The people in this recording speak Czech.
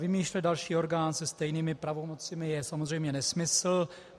Vymýšlet další orgán se stejnými pravomocemi je samozřejmě nesmysl.